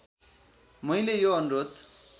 मैले यो अनुरोध